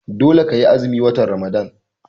Dole ka yi azumin watan Ramadan!